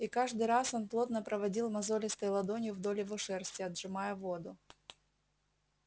и каждый раз он плотно проводил мозолистой ладонью вдоль его шерсти отжимая воду